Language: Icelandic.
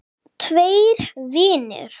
Tveir vinir